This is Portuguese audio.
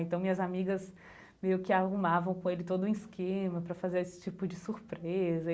Então, minhas amigas meio que arrumavam com ele todo um esquema para fazer esse tipo de surpresa.